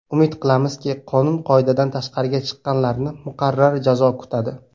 Umid qilamizki, qonun-qoidadan tashqariga chiqqanlarni muqarrar jazo kutadi.